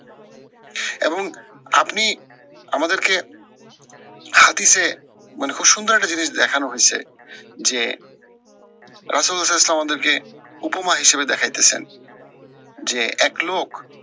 এবং আপনি আমাদেরকে হাতিসে মানে খুব সুন্দর একটা জিনিস দেখানো হৈছে যে, ইসলাম আমাদেরকে উপমা হিসেবে দেখাইতেছেন, যে এক লোক